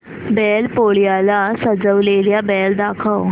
बैल पोळ्याला सजवलेला बैल दाखव